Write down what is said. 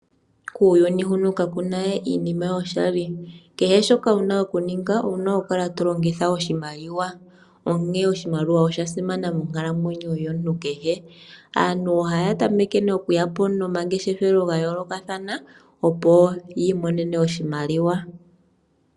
Kuuyuni huno kakuna we iinima yoshali. Kehe shoka wuna okuninga owuna okukala to longitha oshimaliwa, onkene oshimaliwa osha simana monkalamweyo yomuntu kehe. Aantu ohaya tameke nee okuyapo nomamgeshefelo ga yoolokathana opo ya imonene oshimaliwa.